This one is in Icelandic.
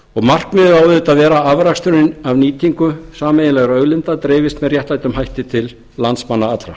á auðvitað að vera að afraksturinn af nýtingu sameiginlegra auðlinda dreifist með réttlátum hætti til landsmanna allra